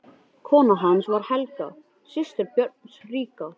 Kona hans var Helga, systir Björns ríka.